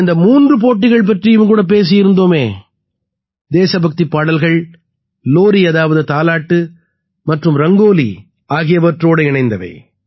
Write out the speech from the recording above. நாம் அந்த மூன்று போட்டிகள் பற்றியும் கூட பேசியிருந்தோமே தேசபக்திப் பாடல்கள் லோரி அதாவது தாலாட்டு மற்றும் ரங்கோலி ஆகியவற்றோடு இணைந்தவை